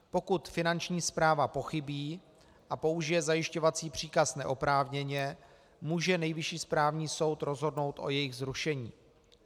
Pokud Finanční správa pochybí a použije zajišťovací příkaz neoprávněně, může Nejvyšší správní soud rozhodnout o jejich zrušení.